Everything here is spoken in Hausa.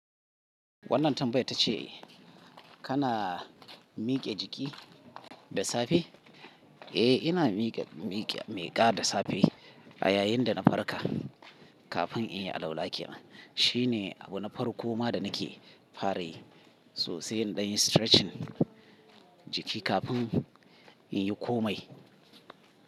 Wannan tambaya ta ce, kana miƙe jiki da safe? Eh, ina miƙa da safe a yayin da na farka kafin in yi alaula kenan. Shi ne abu na farko ma da nake fara yi so sai dan yi stretching jiki kafin in yi komai.